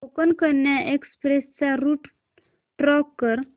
Konkan Kanya express चा route track कर